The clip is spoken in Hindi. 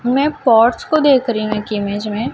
मैं पोर्च को देख री हूं एक इमेज में--